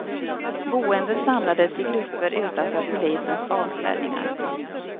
Boende samlades i grupper utanför polisens avspärrningar.